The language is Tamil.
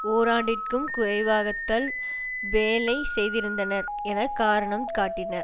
ஓராண்டிற்கும் குறைவாகத்தால் வேலை செய்திருந்தனர் என காரணம் காட்டினர்